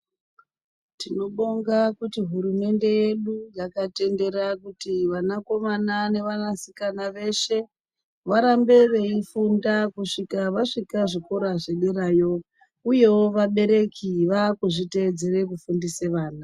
Tinobonga kuti hurumende yedu yakatitendera kuti vanakomana nevanasikana veshe varambe veifunda kusvika vasvika zvikora zvederayo uyewo vabereki vakuzvitedzere kufundisa vana.